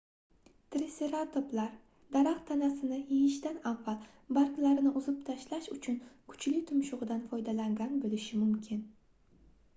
triseratoplar daraxt tanasini yeyishdan avval barglarini uzib tashlash uchun kuchli tumshugʻidan foydalangan boʻlishi mumkin